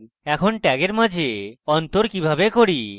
আমরা tags মাঝে অন্তর কিভাবে করি